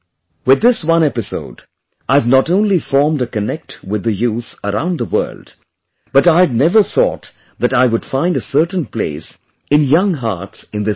With this one episode, I have not only formed a connect with the youth around the world but I had never thought that I would find a certain place in young hearts in this way